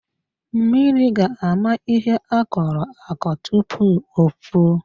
Mmiri ga-ama ihe akọrọ akọ tupu o puo.